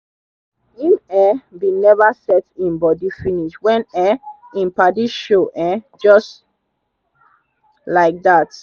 him um bin never set him body finish wen um him padi show um jus laidat